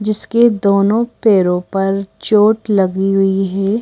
जिसके दोनों पैरों पर चोट लगी हुई है।